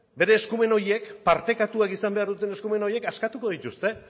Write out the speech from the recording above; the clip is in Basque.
bere eskumen horiek partekatuak izan behar duten eskumen horiek askatuko dituzte